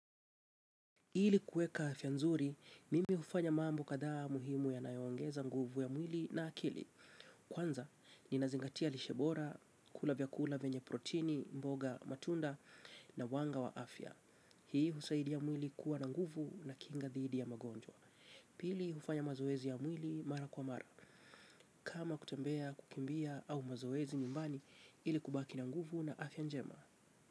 Ili kueka afia nzuri, mimi hufanya mambo kadhaa muhimu yanayongeza nguvu ya mwili na akili. Kwanza, ninazingatia lishe bora, kula vyakula venye protini, mboga matunda na wanga wa afia. Hii husaidia mwili kuwa na nguvu na kinga dhidi ya magonjwa. Pili hufanya mazoezi ya mwili mara kwa mara. Kama kutembea kukimbia au mazoezi nyumbani ili kubaki na nguvu na afia njema.